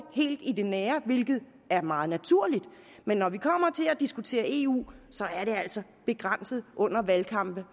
helt i det nære hvilket er meget naturligt men når det kommer til at diskutere eu så er det altså begrænset under valgkampe